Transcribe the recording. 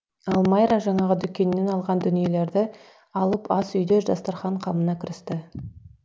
ал майра жаңағы дүкеннен алған дүниелерді алып ас үйде дастархан қамына кірісті